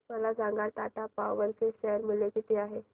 मला सांगा टाटा पॉवर चे शेअर मूल्य किती आहे